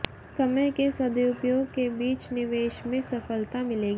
समय के सदुपयोग के बीच निवेश में सफलता मिलेगी